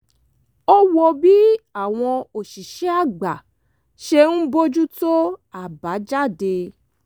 ó wo bí àwọn òṣìṣẹ́ àgbà ṣe ń bójú tó àbájáde